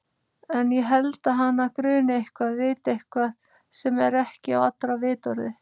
En ég held að hana gruni eitthvað, viti eitthvað sem ekki er á allra vitorði.